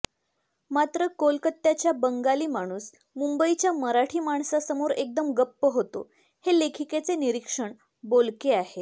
मात्र कोलकात्याचा बंगाली माणूस मुंबईच्या मराठी माणसासमोर एकदम गप्प होतो हे लेखिकेचे निरीक्षण बोलके आहे